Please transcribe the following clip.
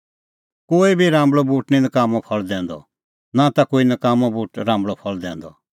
कोई बी राम्बल़अ बूट निं नकाम्मअ फल़ दैंदअ और नां ता कोई नकाम्मअ बूट राम्बल़अ फल़ दैंदअ